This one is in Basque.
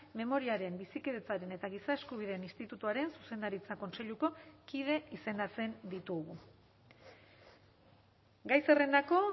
memoriaren bizikidetzaren eta giza eskubideen institutuaren zuzendaritza kontseiluko kide izendatzen ditugu gai zerrendako